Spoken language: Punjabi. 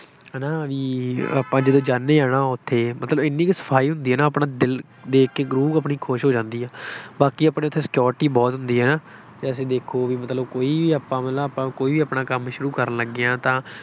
ਹੈ ਨਾ ਬਈ ਆਪਾਂ ਜਦੋਂ ਜਾਂਦੇ ਹਾਂ ਨਾ, ਉੱਥੇ ਮਤਲਬ ਐਨੀ ਕੁ ਸਫਾਈ ਹੁੰਦੀ ਹੈ ਨਾ ਆਪਣਾ ਦਿਲ ਦੇਖ ਕੇ ਰੂ੍ਹ ਆਪਣੀ ਖੁਸ਼ ਹੋ ਜਾਂਦੀ ਹੈ। ਬਾਕੀ ਆਪਣੇ ਉੱਥੇ security ਬਹੁਤ ਹੁੰਦੀ ਹੈ ਨਾ, ਜੇਸੈ ਦੇਖੋ ਬਈ ਮਤਲਬ ਕੋਈ ਵੀ ਆਪਾਂ ਮਤਲਬ ਆਪਾਂ ਕੋਈ ਆਪਣਾ ਕੰਮ ਸ਼ੁਰੂ ਕਰਨ ਲੱਗੇ ਹਾਂ ਤਾਂ